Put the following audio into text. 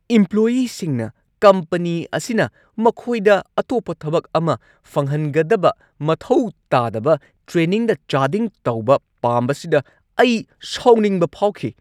ꯏꯝꯄ꯭ꯂꯣꯏꯌꯤꯁꯤꯡꯅ company ꯑꯁꯤꯅ ꯃꯈꯣꯏꯗ ꯑꯇꯣꯞꯄ ꯊꯕꯛ ꯑꯃ ꯐꯪꯍꯟꯒꯗꯕ ꯃꯊꯧ ꯇꯥꯗꯕ ꯇ꯭ꯔꯦꯅꯤꯡꯗ ꯆꯥꯗꯤꯡ ꯇꯧꯕ ꯄꯥꯝꯕꯁꯤꯗ ꯑꯩ ꯁꯥꯎꯅꯤꯡꯕ ꯐꯥꯎꯈꯤ꯫​